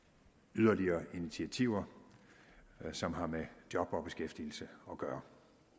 yderligere initiativer som har med job og beskæftigelse at gøre